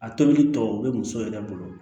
A tobili tɔ bɛ muso yɛrɛ bolo